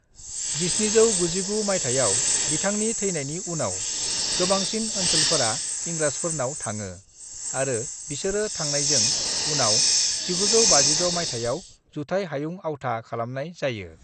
"1799 मायथाइआव बिथांनि थैनायनि उनाव, गोबांसिन ओनसोलफोरा इंराजफोरनाव थाङो आरो बिसोरो थांनायजों उनाव, 1956 मायथाइआव जुथाइ हायुं आवथा खालामनाय जायो।"